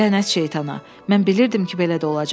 Lənət şeytana, mən bilirdim ki, belə də olacaq.